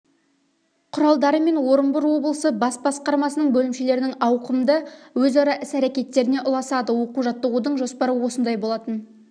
құралдары мен орынбор облысы бас басқармасы бөлімшелерінің ауқымды өзара іс-әрекетіне ұласады оқу-жаттығудың жоспары осындай болатын